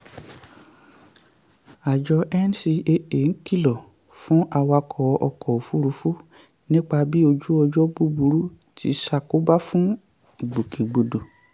àjọ ncaa ń kìlọ̀ fún awakọ̀ ọkọ̀ òfurufú nípa bí ojú ọjọ́ búburú ti ṣàkóbá fún ìgbòkègbodò.